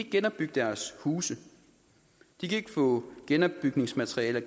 genopbygge deres huse de kan ikke få genopbygningsmaterialer